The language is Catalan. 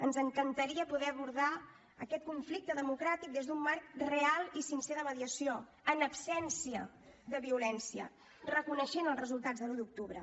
ens encantaria poder abordar aquest conflicte democràtic des d’un marc real i sincer de mediació en absència de violència reconeixent els resultats de l’un d’octubre